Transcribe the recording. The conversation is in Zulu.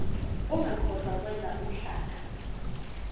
ungakhohlwa ukwenza uhlaka